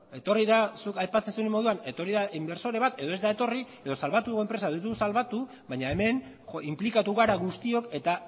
zuk aipatzen zenuen moduan etorri da inbertsore bat edo ez da etorri edo salbatu dugu enpresa edo ez dugu salbatu baina hemen inplikatu gara guztiok eta